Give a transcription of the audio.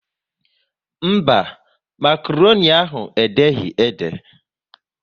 Mba, makroni ahụ e deghị ede?